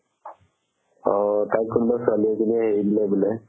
অ তাক কোনোবাই ছোৱালি এজনিয়ে এৰি দিলে বুলে